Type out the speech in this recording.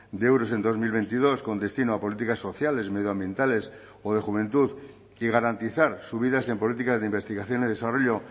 de euros en dos mil veintidós con destino a políticas sociales medioambientales o de juventud y garantizar subidas en políticas de investigación y desarrollo